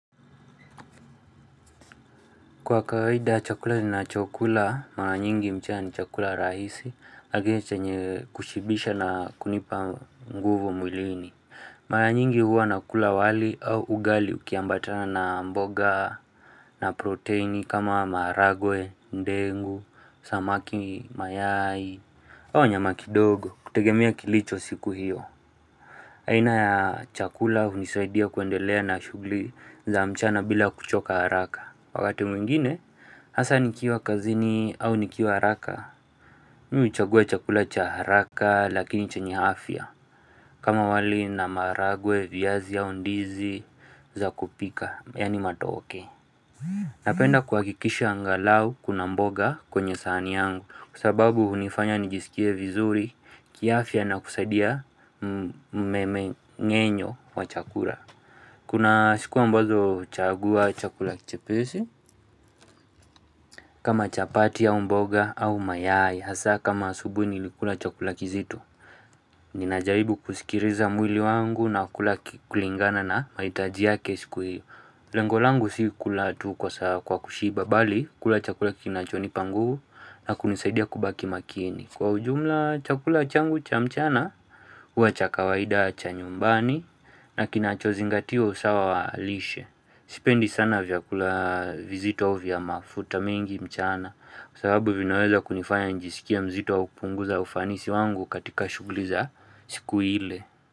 Kwa kawaida chakula ninachokula, mara nyingi mchana ni chakula rahisi, lakini chenye kushibisha na kunipa nguvu mwilini. Mara nyingi huwa nakula wali au ugali ukiambatana na mboga, na proteini kama maharagwe, ndengu, samaki, mayai, au nyama kidogo, kutegemea kilicho siku hiyo. Aina ya chakula hunisaidia kuendelea na shughuli za mchana bila kuchoka haraka. Wakati mwingine, hasa nikiwa kazini au nikiwa haraka mimi huchagua chakula cha haraka lakini chenye afya kama wali na maharagwe, viazi au ndizi za kupika, yaani matoke Napenda kuhakikisha angalau kuna mboga kwenye sahani yangu kwa sababu hunifanya nijisikie vizuri kiafya na kusaidia mmeng'enyo wa chakula. Kuna siku ambazo chagua chakula kichepesi, kama chapati au mboga au mayai hasa kama asubuhi nilikula chakula kizito. Ninajaribu kusikiliza mwili wangu na kula kulingana na mahitaji yake siku hiyo. Lengo langu si kula tu kwa kushiba, bali kula chakula kinachonipa nguvu na kunisaidia kubaki makini. Kwa ujumla chakula changu cha mchana, huwa cha kawaida cha nyumbani na kinachozingatia usawa wa lishe. Sipendi sana vyakula vizito vya mafuta mingi mchana, kwa sababu vinaweza kunifanya njisikie mzito au kupunguza ufanisi wangu katika shuguli za siku ile.